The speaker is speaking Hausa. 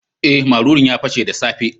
Eh, marurun ya pashe the safe.